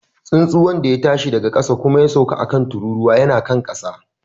Tsuntsun wanda ya tashi daga ƙasa kuma ya sauka a kan tururuwa yana kan ƙasa.